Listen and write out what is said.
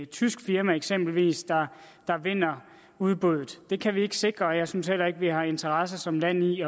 tysk firma eksempelvis der vinder udbuddet det kan vi ikke sikre og jeg synes heller ikke at vi har interesse som land i